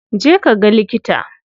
Je ka ga likita.